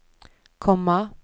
komma